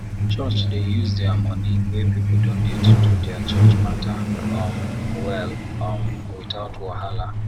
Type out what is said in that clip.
church dey use the money wey people donate do their church matter um well um without wahala